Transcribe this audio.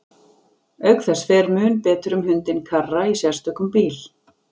Auk þess fer mun betur um hundinn Karra í sérstökum bíl.